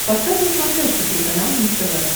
поставь на смотрешке телеканал муз тв